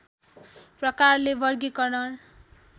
प्रकारले वर्गिकरण